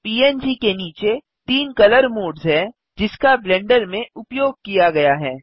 पंग के नीचे तीन कलर मोड्स हैं जिसका ब्लेंडर में उपयोग किया गया हैं